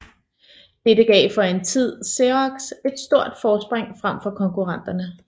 Dette gav for en tid Xerox et stort forspring frem for konkurrenterne